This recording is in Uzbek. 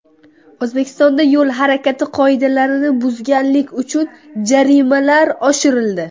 O‘zbekistonda yo‘l harakati qoidalarini buzganlik uchun jarimalar oshirildi.